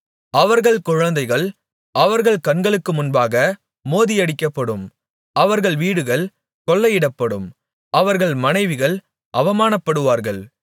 அவர்கள் குழந்தைகள் அவர்கள் கண்களுக்கு முன்பாக மோதியடிக்கப்படும் அவர்கள் வீடுகள் கொள்ளையிடப்படும் அவர்கள் மனைவிகள் அவமானப்படுவார்கள்